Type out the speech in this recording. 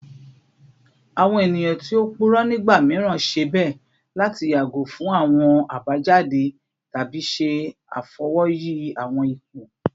Awọn eniyan ti o purọ nigba miiran ṣe bẹ lati yago fun awọn abajade tabi ṣe afọwọyi awọn ipo